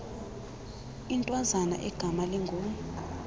intwazana egama lingu